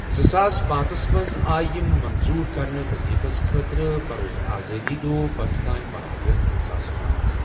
زٕ ساس پانژہس َمٕنٛز، آے یمہٕ مَنظوٗر کرنہٕ وٕظیٖفس خٲطرٕ بروز آزٲدی دۄہ پٲکِستان باہ اَگَست زٕ ساس پانژھ .